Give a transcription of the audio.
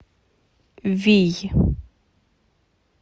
вий